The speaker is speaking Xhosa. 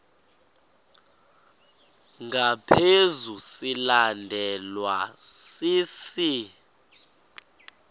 ngaphezu silandelwa sisi